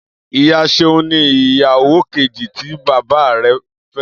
Iya Seun ni iyawo keji ti baba rẹ